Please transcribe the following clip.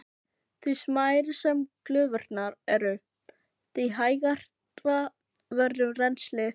Því smærri sem glufurnar eru, því hægara verður rennslið.